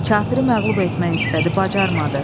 Kafiri məğlub etmək istədi bacarmadı.